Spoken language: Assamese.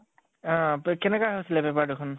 অহ পে কেনেকুৱা হৈছিলে paper দুখন?